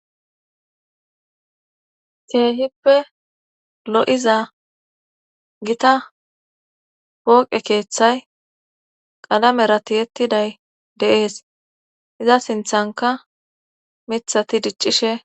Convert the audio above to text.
keehippe lo7iza gita pooqe keeththay qalamera tiyettiday deees iza sinthanka mithati diccishe